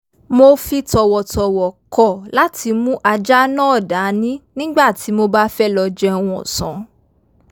mo fi tọ̀wọ̀tọ̀wọ̀ kọ̀ láti mú ajá náà dání nígbà tí mo bá fẹ́ lọ jẹun ọ̀sán